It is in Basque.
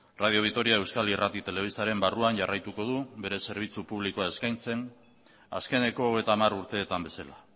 radio vitoriak euskal irrati eta telebistaren barruan jarraituko du bere zerbitzu publikoa eskaintzen azkeneko hogeita hamar urteetan bezala